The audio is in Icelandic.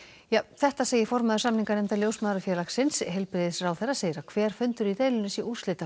þetta segir formaður samninganefndar Ljósmæðrafélagsins heilbrigðisráðherra segir að hver fundur í deilunni sé